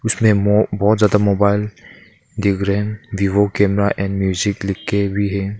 जिसमें बहुत ज्यादा मोबाइल दिख रहे है वीवो कैमरा एंड म्यूजिक लिखके भी--